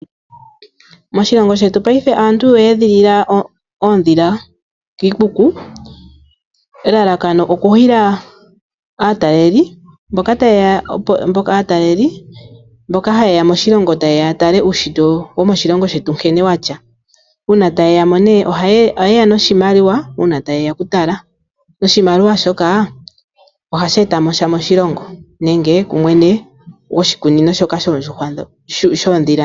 Moshilongo shetu payife aantu oya edhilila oondhila kiikuku ,elalakano oku hila aataleli mboka ha yeya moshilongo ya tale uushitwe womoshilongo shetu nkene wuli. Uuna tayeya oku tala ohaya yeya noshimaliwa uuna tayeya oku tala, noshimaliwa ohashi etamosha moshilongo nenge kumwene gwoshikunino shoka shoondhila.